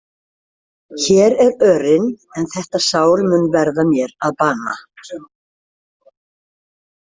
Hér er örin en þetta sár mun verða mér að bana.